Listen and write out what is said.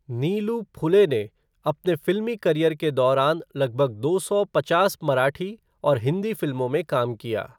नीलू फुले ने अपने फिल्मी करियर के दौरान लगभग दो सौ पचास मराठी और हिंदी फिल्मों में काम किया।